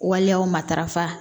Waleyaw matarafa